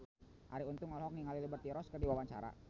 Arie Untung olohok ningali Liberty Ross keur diwawancara